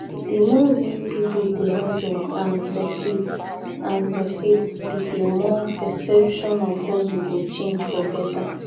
di more we peolpe dey hustle and succeed and succeed be di more perception of hustle go change for beta.